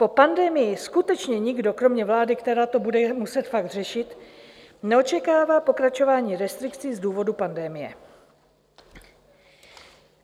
Po pandemii skutečně nikdo kromě vlády, která to bude muset fakt řešit, neočekává pokračování restrikcí z důvodu pandemie.